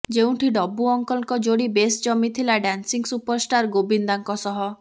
ଯେଉଁଠି ଡବୁ ଅଙ୍କଲଙ୍କ ଯୋଡି ବେଶ ଜମିଥିଲା ଡ୍ୟାନ୍ସିଂ ସୁପରଷ୍ଟାର୍ ଗୋବିନ୍ଦାଙ୍କ ସହ